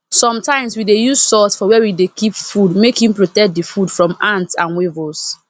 sometimes we dey use salt for where we dey keep food make e protect the food from ants and weevils